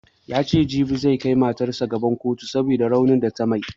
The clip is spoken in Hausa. Yace jibi zai kai matarsa gaban kotu saboda raunin da ta mai